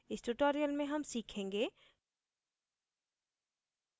इस tutorial में हम सीखेंगे